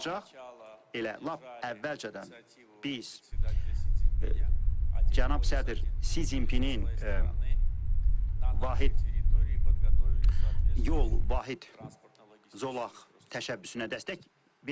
Elə lap əvvəlcədən biz cənab sədr Si Cinpinin vahid yol, vahid nəqliyyat zolaq təşəbbüsünə dəstək vermişik.